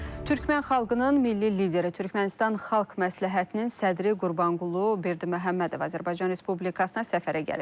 Türkmən xalqının milli lideri, Türkmənistan Xalq Məsləhətinin sədri Qurbanqulu Berdiməhəmmədov Azərbaycan Respublikasına səfərə gəlib.